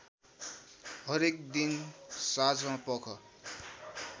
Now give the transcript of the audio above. हरेक दिन साँझपख